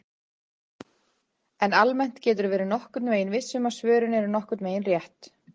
En almennt geturðu verið nokkurn veginn viss um að svörin eru nokkurn veginn rétt!